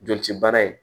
Joli ci baara ye